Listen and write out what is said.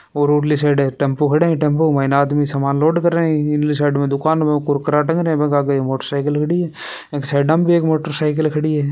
और ओडली side tempo खड़ा है टेम्पो मे आदमी समान लोड करे है इसदली साइड मे दुकान मे कुरकर टंग रहा है बे के आगे एक मोटरसाइकिल खड़ी है एक साइड में मोटरसाइकिल खड़ी है।